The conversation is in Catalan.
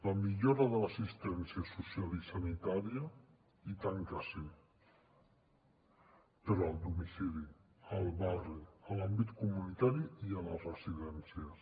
la millora de l’assistència social i sanitària i tant que sí però al domicili al barri a l’àmbit comunitari i a les residències